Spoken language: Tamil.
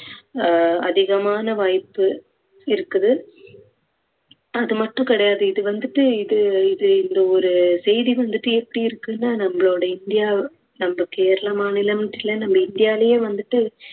அஹ் அதிகமான வாய்ப்பு இருக்குது அது மட்டும் கிடையாது இது வந்துட்டு இது இது இந்த ஒரு செய்தி வந்துட்டு எப்படி இருக்குன்னா நம்மளோட இந்தியா நம்ம கேரள மாநிலம்னுட்டு இல்ல நம்ம இந்தியாவிலேயே வந்துட்டு